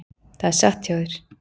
Það er satt hjá þér.